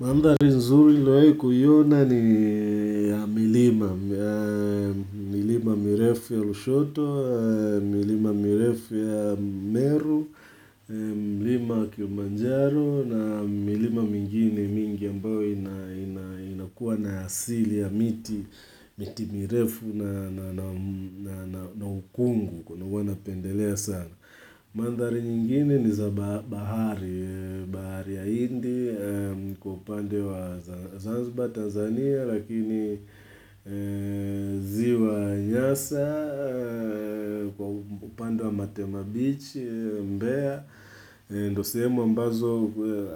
Maanthali nzuri nimewahi kuiyona ni ya milima, milima mirefu ya Lushoto, milima mirefu ya Meru, milima kiumanjaro na milima mingine mingi ambayo inakuwa na asili ya miti, miti mirefu na ukungu huna napendelea sana. Manthadari nyingine ni za bahari ya hindi kwa upande wa Zanziba Tanzania lakini ziwa nyasa kwa upande wa Matema Beach Mbea ndo semu ambazo